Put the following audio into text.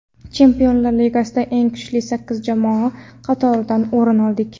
Chempionlar Ligasida eng kuchli sakkiz jamoa qatoridan o‘rin oldik.